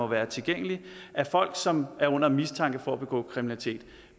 være tilgængelige af folk som er under mistanke for at begå kriminalitet